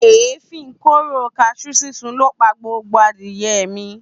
Èéfín kóró kaṣú sísun ló pa gbogbo adìye mi